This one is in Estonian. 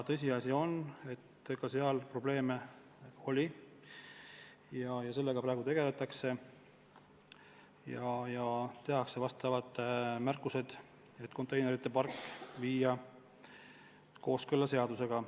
Tõsiasi on, et seal probleeme oli, ja sellega praegu tegeletakse ja tehakse asjaosalistele märkused, et konteinerite park tuleb viia kooskõlla seadusega.